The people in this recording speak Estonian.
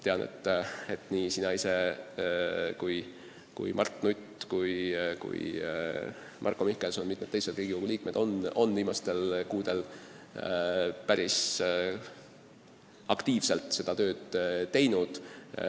Tean, et nii sina ise kui Mart Nutt, Marko Mihkelson ja mitmed teised Riigikogu liikmed on viimastel kuudel päris aktiivselt seda tööd teinud.